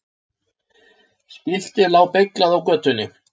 Skiltið lá beyglað á götunni.